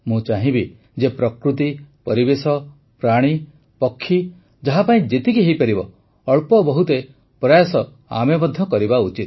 ମୁଁ ଚାହିଁବି ଯେ ପ୍ରକୃତି ପରିବେଶ ପ୍ରାଣୀ ପକ୍ଷୀ ଯାହାପାଇଁ ଯେତିକି ହୋଇପାରିବ ଅଳ୍ପବହୁତେ ପ୍ରୟାସ ଆମେ ମଧ୍ୟ କରିବା ଉଚିତ